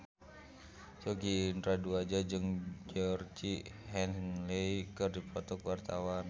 Sogi Indra Duaja jeung Georgie Henley keur dipoto ku wartawan